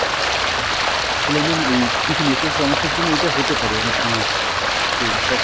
আচ্ছা, আসলে mam এই, কিছু network সমস্যা র জন্যে ইটা হতে পারে অনেক সময় তো সব